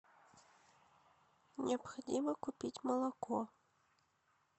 необходимо купить молоко